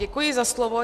Děkuji za slovo.